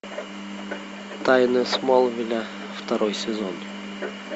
тайны смолвиля второй сезон